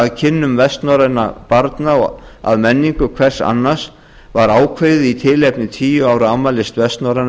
að kynnum vestnorrænna barna að menningu hvers annars var ákveðið í tilefni tíu ára afmælis vestnorræna